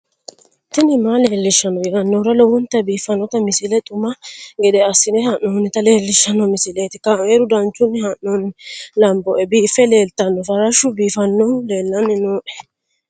tini maa leelishshanno yaannohura lowonta biiffanota misile xuma gede assine haa'noonnita leellishshanno misileeti kaameru danchunni haa'noonni lamboe biiffe leeeltanno farashu biifannohu leellanni nooe